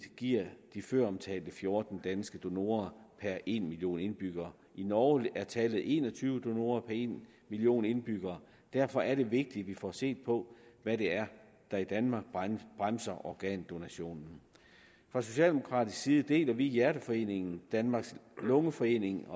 giver de føromtalte fjorten danske donorer per en million indbyggere i norge er tallet en og tyve donorer per en million indbyggere derfor er det vigtigt at vi får set på hvad det er der i danmark bremser organdonationen fra socialdemokratisk side deler vi hjerteforeningen danmarks lungeforening